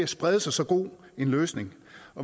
sprede sig så god en løsning